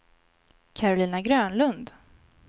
Karolina Grönlund